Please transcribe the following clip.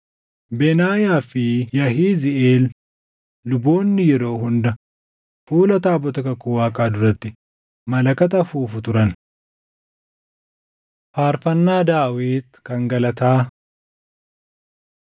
Benaayaa fi Yahiziiʼeel luboonni yeroo hunda fuula taabota kakuu Waaqaa duratti malakata afuufu turan. Faarfannaa Daawit Kan Galataa 16:8‑22 kwf – Far 105:1‑15 16:23‑33 kwf – Far 96:1‑13 16:34‑36 kwf – Far 106:1,47‑48